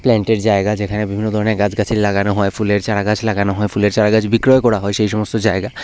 প্ল্যান্টের জায়গা যেখানে বিভিন্ন ধরনের গাছগাছালি লাগানো হয় ফুলের চারাগাছ লাগানো হয় ফুলের চারাগাছ বিক্রয় করা হয় সেই সমস্ত জায়গা।